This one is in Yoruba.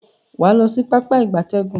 Waa lo si Pápá ìgbatẹ́gùn.